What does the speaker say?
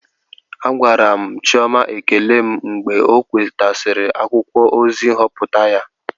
Agwara m Chioma ekele m mgbe ọ nwetasịrị akwụkwọ ozi nhọpụta ya